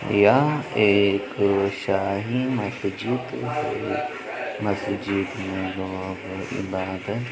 यह एक शाही मस्जिद मस्जिद में इबादत --